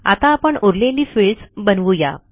आता आपण उरलेली फिल्डस बनवू या